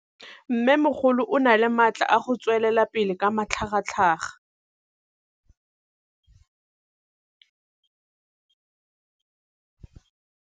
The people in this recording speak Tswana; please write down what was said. Mmêmogolo o na le matla a go tswelela pele ka matlhagatlhaga.